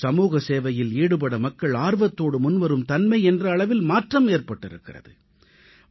சமூக சேவையில் ஈடுபட வேண்டும் என்ற எண்ணம் மக்கள் மனதில் ஏற்பட்டிருப்பது பெரும் மாற்றமாகும்